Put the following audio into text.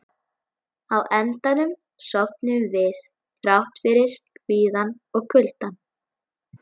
Á endanum sofnuðum við, þrátt fyrir kvíðann og kuldann.